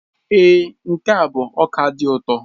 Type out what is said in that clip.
Èé, nke a bụ ọka dị ụtọ.